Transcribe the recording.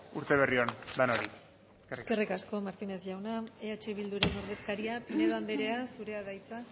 urteberri on denoi eskerrik asko eskerrik asko martínez jauna eh bilduren ordezkaria pinedo andrea zurea da hitza